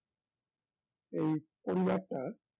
এই পরিবারটা